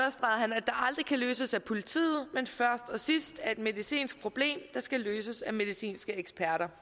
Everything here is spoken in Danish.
aldrig kan løses af politiet men først og sidst er et medicinsk problem der skal løses af medicinske eksperter